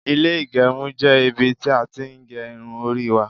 ile igerun je ibi ti a tin ge irun ori wa